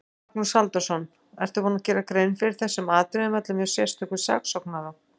Magnús Halldórsson: Ertu búinn að gera grein fyrir þessum atriðum öllum hjá sérstökum saksóknara?